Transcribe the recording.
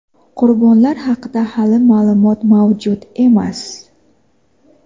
Qurbonlar haqida hali ma’lumot mavjud emas.